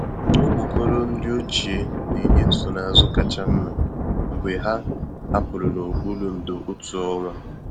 Okpokoro nri ochie na-enye nsonaazụ kacha mma mgbe ha hapụrụ n'okpuru ndò otu ọnwa.